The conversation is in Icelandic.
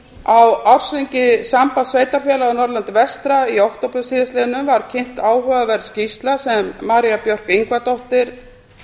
á ársþingi sambands sveitarfélaga á norðurlandi vestra í október síðastliðnum var kynnt áhugaverð skýrsla sem maría björk ingvadóttir